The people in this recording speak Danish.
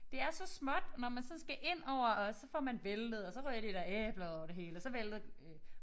Det er så småt og når man sådan skal indover og så får man væltet og så ryger de der æbler udover det hele og så vælter øh